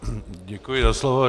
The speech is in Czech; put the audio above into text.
Děkuji za slovo.